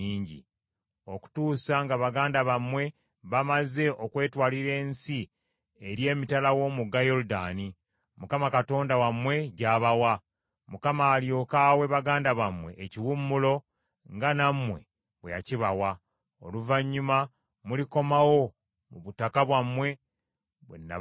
okutuusa nga baganda bammwe bamaze okwetwalira ensi eri emitala w’omugga Yoludaani, Mukama Katonda wammwe gy’abawa; Mukama alyoke awe baganda bammwe ekiwummulo nga nammwe bwe yakibawa. Oluvannyuma mulikomawo mu butaka bwammwe bwe nabagabira.”